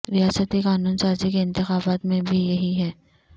ریاستی قانون سازی کے انتخابات میں بھی یہی ہے